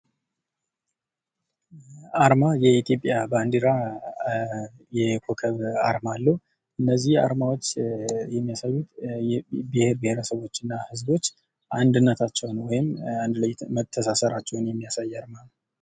አርማ የኢትዮጵያ ባንዲራ የኮከብ አርማ አለው። እነዚህ አርማዎች የሚያሳዩት ብሄረሰቦችና ህዝቦች አንድነታቸውን እና መተሳሰራቸውን የሚያሳይ ነው ።